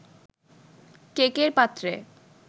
কেকের পাত্রে